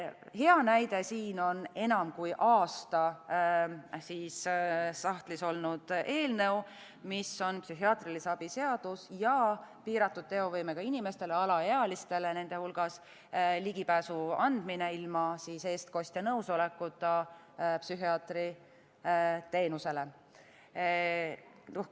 Hea näide on enam kui aasta sahtlis olnud eelnõu, mis on psühhiaatrilise abi seadus ja piiratud teovõimega inimestele, alaealistele nende hulgas, ligipääsu andmine ilma eestkostja nõusolekuta psühhiaatri teenusele.